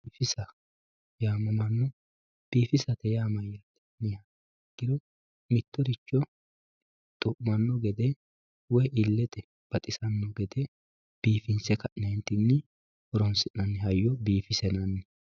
Biifissa yaamamanoo, biifisate yaa mayatte yinniha ikkiro mitoricho xu'umanno gede woyi illete baxxisanno gede biifisse kae horonsinanni hayyo biifissa yinanni.